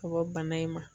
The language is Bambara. Ka bɔ bana in ma